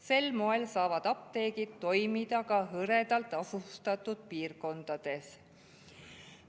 Sel moel saavad apteegid toimida ka hõredalt asustatud piirkondades.